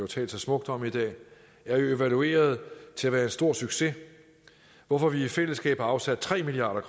talt så smukt om i dag er evalueret til at være en stor succes hvorfor vi i fællesskab har afsat tre milliard